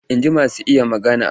Inji masu iya magana.